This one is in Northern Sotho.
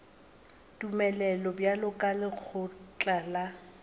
tumelelo bjalo ka lekgotla la